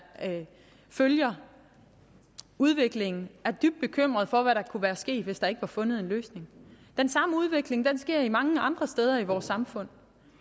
følger udviklingen er dybt bekymrede for hvad der kunne være sket hvis der ikke var fundet en løsning den samme udvikling sker mange andre steder i vores samfund